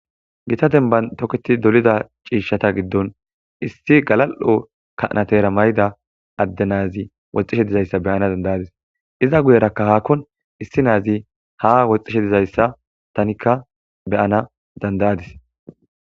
Gita demban toketti dolida issi galal7o kanateera mayida adde naazi woxxishe dizaysa beyana danda7adis iza guyerakka haa woxxishe dizaysa tanikka be7anas danda7adis.